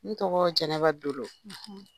N tɔgɔ jɛnɛba dolo.